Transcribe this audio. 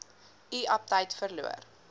u aptyt verloor